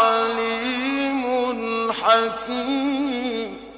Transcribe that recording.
عَلِيمٌ حَكِيمٌ